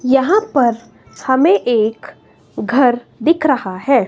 यहां पर हमें एक घर दिख रहा है।